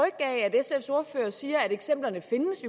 sfs ordfører siger at eksemplerne findes